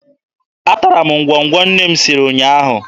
Atara m ngwọngwọ nne m siri ụnyaahụ.